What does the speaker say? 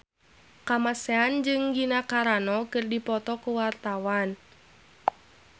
Kamasean jeung Gina Carano keur dipoto ku wartawan